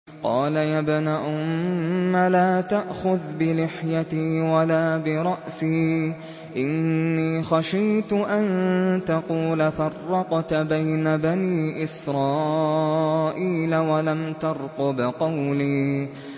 قَالَ يَا ابْنَ أُمَّ لَا تَأْخُذْ بِلِحْيَتِي وَلَا بِرَأْسِي ۖ إِنِّي خَشِيتُ أَن تَقُولَ فَرَّقْتَ بَيْنَ بَنِي إِسْرَائِيلَ وَلَمْ تَرْقُبْ قَوْلِي